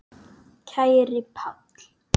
Kæri Páll.